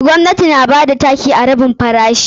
Gwamnati na bada taki a rabin farashi.